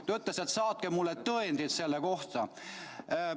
Ta ütles, et saatke mulle tõendid selle kohta.